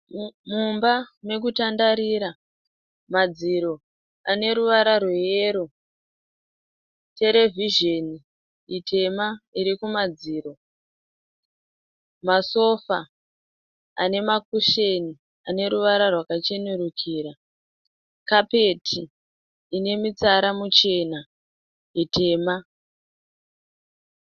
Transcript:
Mumba mekutandarira. Madziro ane ruvara rweyero. Terevhizheni itema iri kumadziro. Masofa ane makusheni ane ruvara rwakachenerukira. Kapeti ine mitsara michena, mitema